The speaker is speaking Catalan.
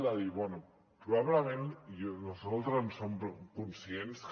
ara bé probablement nosaltres en som conscients que